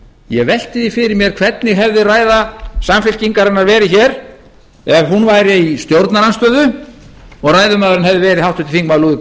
ég velti því fyrir mér hvernig hefði ræða samfylkingarinnar verið hér ef hún væri í stjórnarandstöðu og ræðumaðurinn hefði verið háttvirtir þingmenn